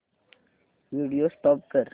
video stop कर